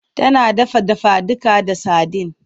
Tana dafa dafaduka da sadin.